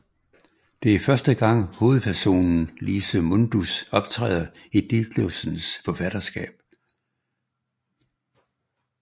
Det er første gang hovedpersonen Lise Mundus optræder i Ditlevsens forfatterskab